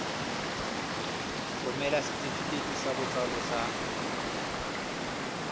romela setefikeiti sa botsalo sa